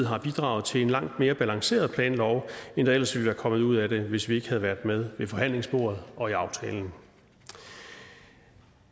har bidraget til en langt mere balanceret planlov end der ellers ville være kommet ud af det hvis vi ikke havde været med ved forhandlingsbordet og i aftalen